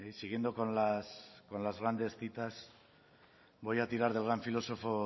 siguiendo con las grandes citas voy a tirar del gran filosofo